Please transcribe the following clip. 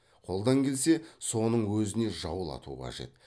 қолдан келсе соның өзіне жаулату қажет